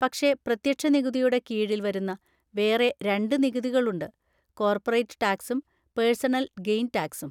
പക്ഷെ പ്രത്യക്ഷ നികുതിയുടെ കീഴിൽ വരുന്ന വേറെ രണ്ട് നികുതികളുണ്ട്; കോർപ്പറേറ്റ് ടാക്‌സും പേർസണൽ ഗെയ്ൻ ടാക്‌സും.